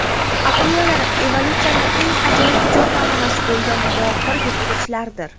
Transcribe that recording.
Akulalar evolyutsiyaning eng ajoyib ijod namunasi bo‘lgan mohir yirtqichlardir.